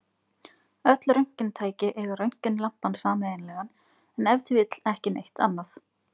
Öll röntgentæki eiga röntgenlampann sameiginlegan, en ef til vill ekki neitt annað!